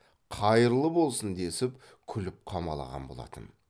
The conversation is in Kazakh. қайырлы болсын десіп күліп қамалаған болатын